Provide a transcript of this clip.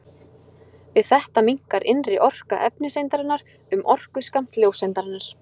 Við þetta minnkar innri orka efniseindarinnar um orkuskammt ljóseindarinnar.